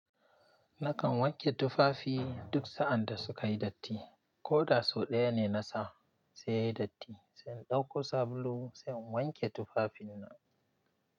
Nakan wanke tufafi duk sa'ad da suka yi datti, ko da sau ɗaya ne na sa sai ya yi datti. Sai in ɗauko sabulu sai in wanke tufafina.